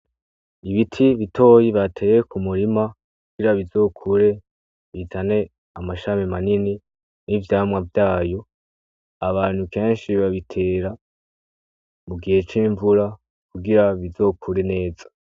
Ibiti bitoyi bateye ku murima kugira bizokure bizane amashami manini n'ivyamwa vyayo abantu kenshi babitera mu gihe c'invura kugira bizokure neza.